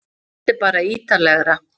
Þetta er bara ítarlegra